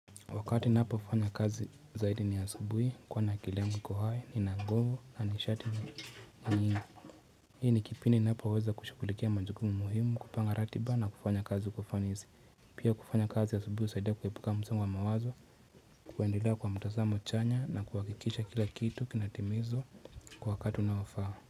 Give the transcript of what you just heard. Wakati ninapofanya kazi zaidi ni asubuhi kwani akili yangu iko hai nina nguvu na nishati nyingi hii ni kipindi ninapoweza kushughulikia majukumu muhimu kupanga ratiba na kufanya kazi kwa ufanisi pia kufanya kazi asubuhi husaidia kuepuka msongo wa mawazo kuendelea kwa mtazamo chanya na kuhakikisha kila kitu kinatimizwa kwa wakati unaofaa.